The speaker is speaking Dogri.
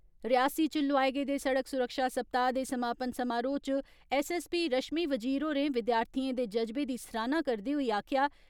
रियासी च लोआए गेदे सड़क सुरक्षा सप्ताह दे समापन समारोह च ऐस्सऐस्सपी रशमी वजीर होरें विद्यार्थियें दे जज्बे दी सराहना करदे होई आक्खेया